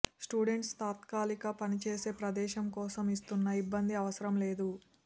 students తాత్కాలిక పనిచేసే ప్రదేశం కోసం చూస్తున్న ఇబ్బంది అవసరం లేదు